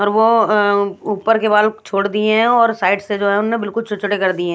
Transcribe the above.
और वो आ ऊपर के बाल छोड़ दिए हैं और साइड से जो है उन्होने बिल्कुल छोटे-छोटे कर दिए हैं।